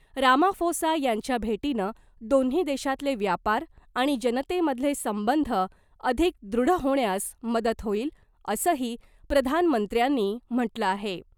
Ramaphosa यांच्या भेटीनं दोन्ही देशातले व्यापार आणि जनतेमधले संबंध अधिक दृढ होण्यास मदत होईल , असंही प्रधानमंत्र्यांनी म्हटलं आहे .